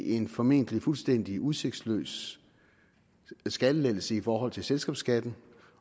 en formentlig fuldstændig udsigtsløs skattelettelse i forhold til selskabsskatten